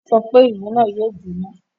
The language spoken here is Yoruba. Ó sọ pé, "Ìlú náà yóò jọ́ná!"